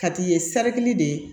Ka t'i ye saridi de ye